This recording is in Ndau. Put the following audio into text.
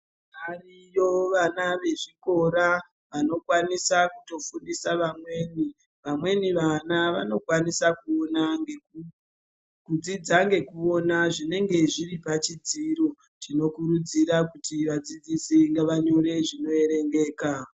Variyo vana vezvikora vanokwanisa kutofundisa vamweni. Vamweni vana vanokwanisa kuona ngeku, kudzidza ngekuona zvinenge zviri pachidziro chinokurudzira kuti vadzidzisi ngavanyore zvinoerengeka.